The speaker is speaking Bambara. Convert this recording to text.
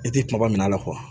I tɛ kumaba min la